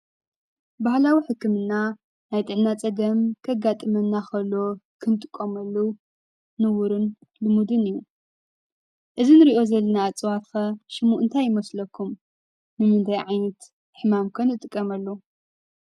ባህላዊ ሕክምና ናይ ጥዕና ፀገም ከጋጥመና ኸሎ ክንጥቀመሉ ንቡርን ልሙድን እዩ። እዚ ንሪኦ ዘለና እፅዋት ከ ሽሙ እንታይ ይመስለኩም? ንምንታይ ዓይነት ሕማም ከ ንጥቀመሉ?